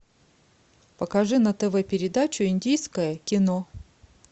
покажи на тв передачу индийское кино